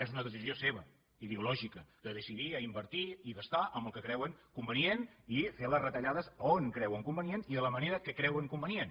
és una decisió seva ideològica de decidir a invertir i gastar amb el que creuen convenient i fer les retallades a on creuen convenient i de la manera que creuen convenient